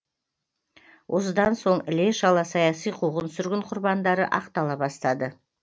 осыдан соң іле шала саяси қуғын сүргін құрбандары ақтала бастады